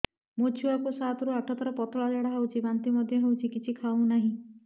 ମୋ ଛୁଆ କୁ ସାତ ରୁ ଆଠ ଥର ପତଳା ଝାଡା ହେଉଛି ବାନ୍ତି ମଧ୍ୟ୍ୟ ହେଉଛି କିଛି ଖାଉ ନାହିଁ